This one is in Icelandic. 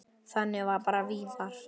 Þannig var bara Viðar.